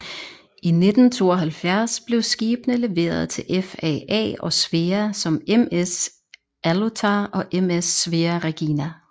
I 1972 blev skibene leveret til FAA og Svea som MS Aallotar og MS Svea Regina